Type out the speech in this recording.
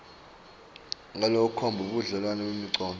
ngalokukhomba budlelwane bemicondvo